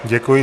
Děkuji.